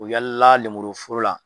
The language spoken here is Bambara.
U be yala lemuru foro la.